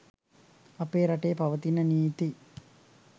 අපේ රටේ පවතින නීති